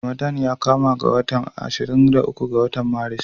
Ramadana ya kama ne a ranar ashirin da uku ga watan Maris.